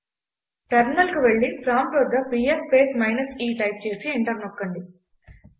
టెర్మినల్కు వెళ్లి ప్రాంప్ట్ వద్ద PS space minus e type చేసి ఎంటర్ నొక్కండి